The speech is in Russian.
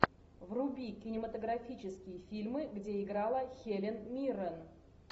вруби кинематографические фильмы где играла хелен миррен